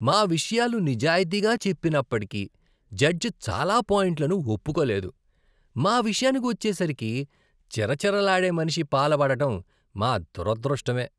మా విషయాలు నిజాయితీగా చెప్పినప్పటికీ, జడ్జ్ చాలా పాయింట్లను ఒప్పుకోలేదు. మా విషయానికి వచ్చేసరికి చిరచిరలాడే మనిషి పాల పడడం మా దురదృష్టమే.